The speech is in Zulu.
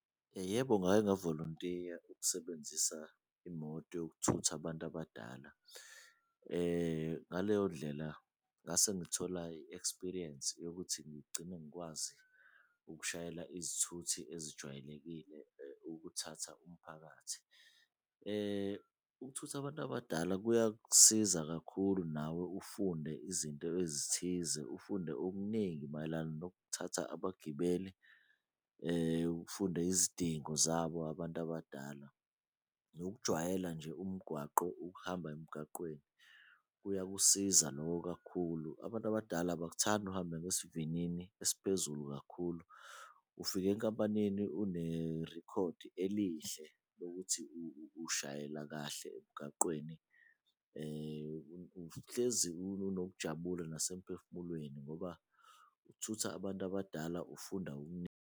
Yebo, ngake wavolontiya ukusebenzisa imoto yokuthutha abantu abadala ngaleyo ndlela ngasengithola i-experience yokuthi ngigcine ngikwazi ukushayela izithuthi ezijwayelekile ukuthatha umphakathi. Ukuthutha abantu abadala kuyakusiza kakhulu nawe ufunde izinto ezithize, ufunde okuningi mayelana nokuthatha abagibeli, ufunde izidingo zabo abantu abadala, nokujwayela nje umgwaqo ukuhamba emgaqweni kuyakusiza loko kakhulu. Abantu abadala abakuthandi uhambe ngesivinini esiphezulu kakhulu ufika enkampanini unerikhodi elihle lokuthi ushayela kahle emgaqweni, uhlezi unokujabula nase mphefumulweni ngoba ukuthutha abantu abadala ufunda .